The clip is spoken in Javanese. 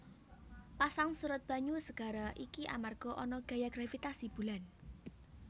Pasang surut banyu segara iki amarga ana gaya gravitasi bulan